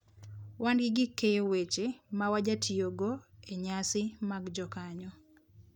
Wan gi gik keyo weche ma wajatiyogo e nyasi mag jokanyo.